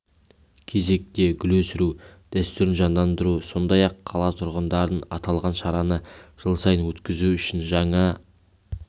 кезекте гүл өсіру дәстүрін жандандыру сондай-ақ қала тұрғындарын аталған шараны жыл сайын өткізу үшін жаңа